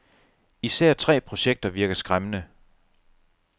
Især tre projekter virker skræmmende.